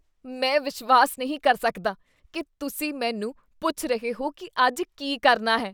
ਮੈਂ ਵਿਸ਼ਵਾਸ ਨਹੀਂ ਕਰ ਸਕਦਾ ਕੀ ਤੁਸੀਂ ਮੈਨੂੰ ਪੁੱਛ ਰਹੇ ਹੋ ਕੀ ਅੱਜ ਕੀ ਕਰਨਾ ਹੈ।